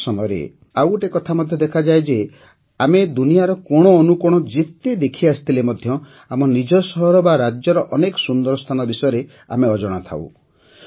ଅନେକ ସମୟରେ ଆଉଗୋଟେ କଥା ମଧ୍ୟ ଦେଖାଯାଏ ଯେ ଆମେ ଦୁନିଆର କୋଣଅନୁକୋଣ ଯେତେ ଦେଖିଆସିଥିଲେ ମଧ୍ୟ ଆମ ନିଜ ସହର ବା ରାଜ୍ୟର ଅନେକ ସୁନ୍ଦର ସ୍ଥାନ ବିଷୟରେ ଆମେ ଅଜଣା ଥାଉ